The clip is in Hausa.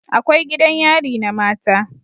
Akwai gidan yari na mata